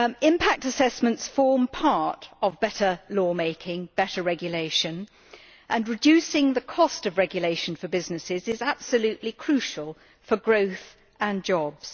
Impact assessments form part of better law making better regulation and reducing the cost of regulation for businesses is absolutely crucial for growth and jobs.